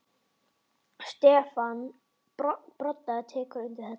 Stefán Broddi tekur undir þetta.